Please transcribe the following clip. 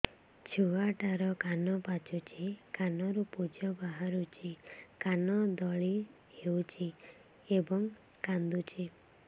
ଛୁଆ ଟା ର କାନ ପାଚୁଛି କାନରୁ ପୂଜ ବାହାରୁଛି କାନ ଦଳି ହେଉଛି ଏବଂ କାନ୍ଦୁଚି